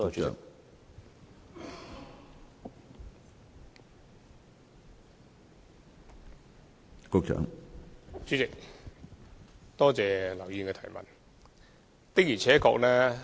主席，多謝劉議員的補充質詢。